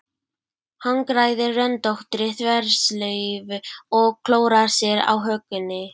Hagræðir röndóttri þverslaufu og klórar sér á hökunni.